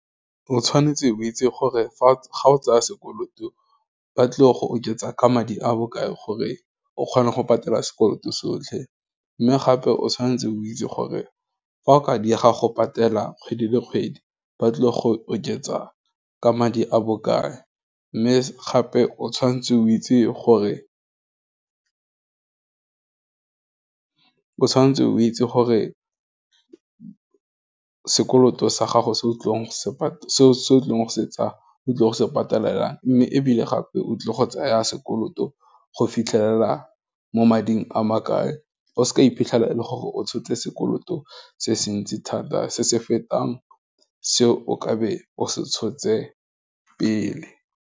O tshwanetse o itse gore ga o tsaya sekoloto ba tlile go oketsa ka madi a bokae gore, o kgona go patela sekoloto sotlhe, mme gape o tshwanetse o itse gore fa o ka diega go patela kgwedi le kgwedi ba tlile go oketsa ka madi a bokae, mme gape o tshwanetse o itse gore o sekoloto sa gago se o tlile go se patelela daar, mme ebile gape, o tlile go tsaya sekoloto go fitlhelela mo mading a makae, o se ka iphitlhela e le gore, o tshotse sekoloto se se ntsi thata, se se fetang se o ka be o se tshotse pele.